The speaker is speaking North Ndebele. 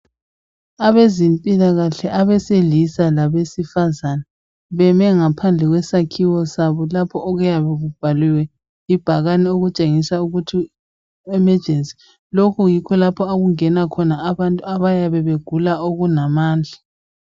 Abezempilakahle abesilisa labesifazana beme ngaphandle kwesakhiwo sabo lapho okuyabe kubhaliwe ibhakane okutshengisa ukuthi emejensi lapha yikho okungena abantu abayabe begula okunamandla.